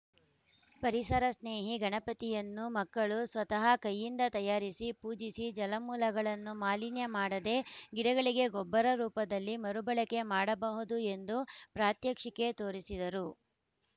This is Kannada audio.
ಪರಿಸರ ಸ್ನೇಹಿ ಗಣಪತಿಯನ್ನು ಮಕ್ಕಳು ಸ್ವತಃ ಕೈಯಿಂದ ತಯಾರಿಸಿ ಪೂಜಿಸಿ ಜಲಮೂಲಗಳನ್ನು ಮಾಲಿನ್ಯ ಮಾಡದೇ ಗಿಡಗಳಿಗೆ ಗೊಬ್ಬರ ರೂಪದಲ್ಲಿ ಮರು ಬಳಕೆ ಮಾಡಬಹುದು ಎಂದು ಪ್ರಾತ್ಯಕ್ಷಿಕೆ ತೋರಿಸಿದರು